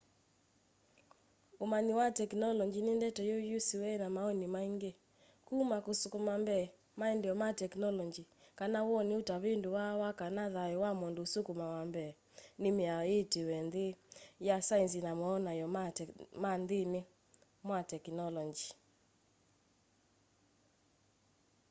umanyi wa tekinolonji ni ndeto yusiwe ni mawoni maingi kuma kusukuma mbee maendeeo ma teknolonji kana woni utavinduwa wa kana thayu wa mundu usukumawa mbee ni miao yiitwe nthi ya saenzi na mawonany'o mayo nthini wa tekinolonji